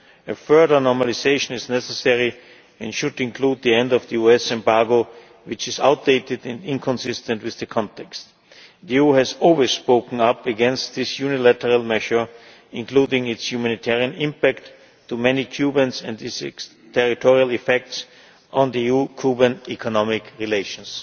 order. A further normalisation is necessary and should include the end of the US embargo, which is outdated and inconsistent with the context. The EU has always spoken up against this unilateral measure, including its humanitarian impact on many Cubans and its territorial effects on EU Cuban economic relations.